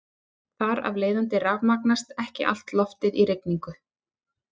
Þar af leiðandi rafmagnast ekki allt loftið í rigningu.